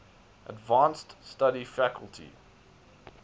advanced study faculty